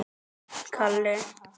Jóhann: Gefurðu það upp?